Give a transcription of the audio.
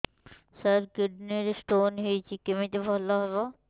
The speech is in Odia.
ସାର କିଡ଼ନୀ ରେ ସ୍ଟୋନ୍ ହେଇଛି କମିତି ଭଲ ହେବ